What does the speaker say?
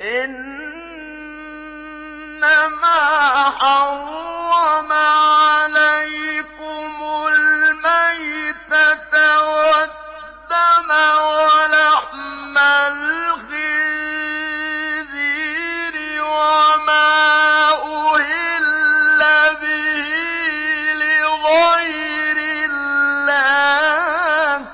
إِنَّمَا حَرَّمَ عَلَيْكُمُ الْمَيْتَةَ وَالدَّمَ وَلَحْمَ الْخِنزِيرِ وَمَا أُهِلَّ بِهِ لِغَيْرِ اللَّهِ ۖ